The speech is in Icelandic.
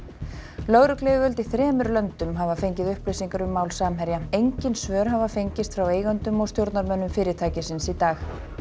lögregluyfirvöld í þremur löndum hafa fengið upplýsingar um mál Samherja engin svör hafa fengist frá eigendum og stjórnarmönnum fyrirtækisins í dag